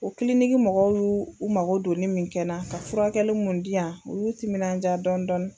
O kiliniki mɔgɔw y'u u mako don nin min kɛnɛ na, ka furakɛli mun di yan u y'u timinandiya dɔɔni dɔɔni.